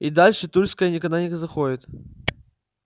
и дальше тульской никогда не заходит